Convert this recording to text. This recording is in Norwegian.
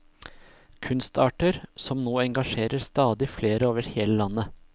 Kunstarter som nå engasjerer stadig flere over hele landet.